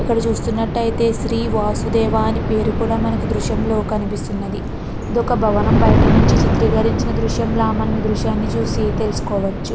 ఇక్కడ చూస్తున్నట్టయితే శ్రీ వాసుదేవా అని పేరు కూడా మనకి దృశ్యం లో కనిపిస్తున్నది. ఒక భవనం బయట నుంచి చిత్రీకరించిన దృశ్యం తెలుసుకోవచ్చు.